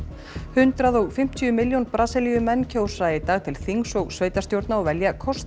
hundrað og fimmtíu milljón Brasilíumenn kjósa í dag til þings og sveitarstjórna og velja forseta